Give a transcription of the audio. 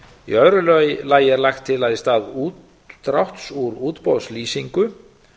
í öðru lagi er lagt til að í stað útdráttar úr útboðslýsingu